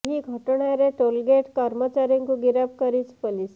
ଏହି ଘଟଣାରେ toll gate କର୍ମଚାରୀଙ୍କୁ ଗିରଫ କରିଛି ପୋଲିସ